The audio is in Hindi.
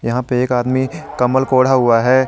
यहां पे एक आदमी कंबल को ओढ़ा हुआ है।